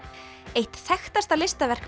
eitt þekktasta listaverk